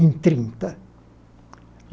em trinta.